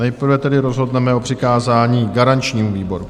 Nejprve tedy rozhodneme o přikázání garančnímu výboru.